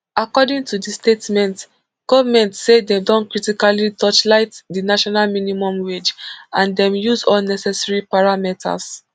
according to di statement goment say dem don critically torchlight di national minimum wage and dem use all necessary parameters